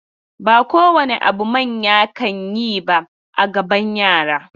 Ba kowane abu manya kan yi ba a gaban yara.